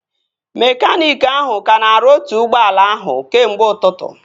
Mekaniiki ahụ ka na-arụ otu ụgbọala ahụ kemgbe ụtụtụ